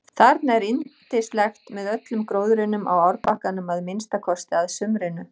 Þarna er yndislegt með öllum gróðrinum á árbakkanum að minnsta kosti að sumrinu.